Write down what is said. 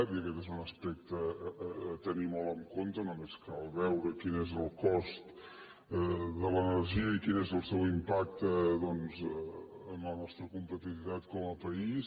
i aquest és un aspecte a tenir molt en compte només cal veure quin és el cost de l’energia i quin és el seu impacte doncs en la nostra competitivitat com a país